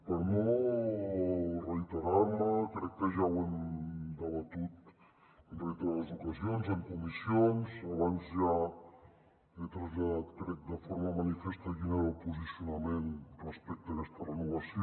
per no reiterar me crec que ja ho hem debatut en reiterades ocasions en comissions abans ja he traslladat crec de forma manifesta quin era el posicionament respecte a aquesta renovació